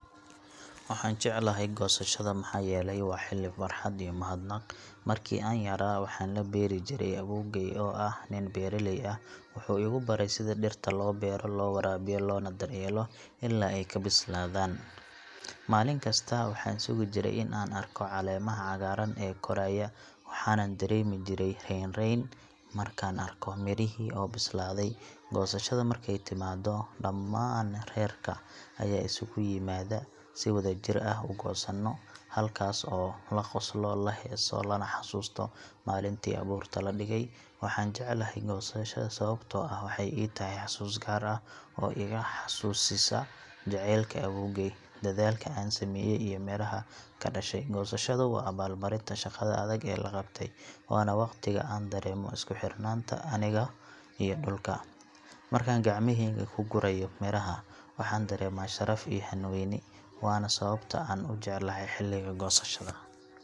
Waxaan jeclahay goosashada maxaa yeelay waa xilli farxad iyo mahadnaq ah. Markii aan yaraa waxaan la beeri jiray awoowgay oo ahaa nin beeraley ah. Wuxuu igu baray sida dhirta loo beero, loo waraabiyo, loona daryeelo ilaa ay ka bislaadaan. Maalin kasta waxaan sugi jiray in aan arko caleemaha cagaaran ee koraya, waxaanan dareemi jiray raynrayn markaan arko mirihii oo bislaaday. Goosashada markay timaado, dhammaan reerka ayaa isugu yimaada si wadajir ah u goosano, halkaas oo la qoslo, la heeso, lana xasuusto maalintii abuurka la dhigay. Waxaan jeclahay goosashada sababtoo ah waxay ii tahay xusuus gaar ah oo iga xasuusisa jacaylka awoowgay, dadaalka aan sameeyay iyo midhaha ka dhashay. Goosashada waa abaalmarinta shaqada adag ee la qabtay, waana waqtiga aan dareemo isku xirnaanta aniga iyo dhulka. Markaan gacmahayga ku gurayo miraha, waxaan dareemaa sharaf iyo hanweyni, waana sababta aan u jeclahay xilliga goosashada.